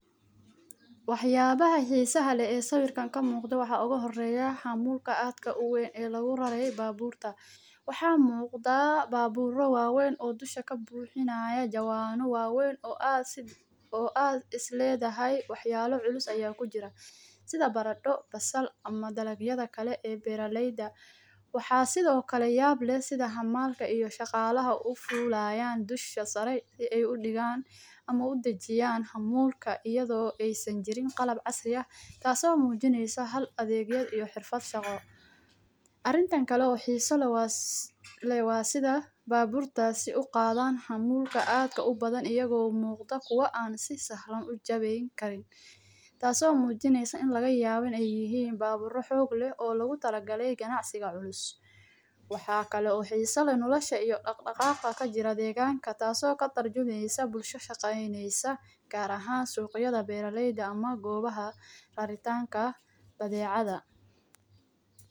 Waxa yaala xiisa leh ee sawirkan kamuuqda waxa ugu horeeya xamuulka aadka uweyn ee lagu rarey baabuurta, Wxaa muuqda baabuuro waa weyn oo dusha kabuuxinayo jawaano waa weyn oo aad isleedahay waxa yaala culus ayaa kujira sida bardho, basal ama dalagyada kale ee beeraleyda waxa sido kale sida xamaalka iyo shaqaalaha ufuulayan dusha sare si ay udhigan ama uda jiyan xamuulaka iyadoo aysan jirin qalab casri ah kaaso muujineysa hal adeegyo iyo xirfad shaqo arintan kale xiisa leh waa sida baabuurtas uqaadan xamuulka aadka ubadan iyagoo muuqda kuwa aan si sahalan u jabi karin taaso muujineyso in laga yaabin ay yihiin baabuuro xoog leh oo logu talagalay ganacsiga culus waxa kalo xiisa leh nolosha iyo dhaqdhaqaaqa kajira deeganka taaso katarjumeysa bulsho shaqeeyneysa gaar ahan suuqyada beeraleyda ama goobaha raritaanka badeecada.